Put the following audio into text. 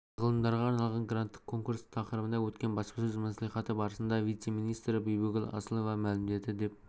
және ғалымдарға арналған гранттық конкурс тақырыбында өткен баспасөз мәслихаты барысында вице-министрі бибігүл асылова мәлімдеді деп